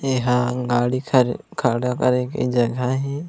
एहा गाड़ी खड़ खड़ा करे के जगह हे।